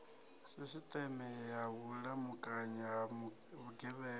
sisiteme ya vhulamukanyi ha vhugevhenga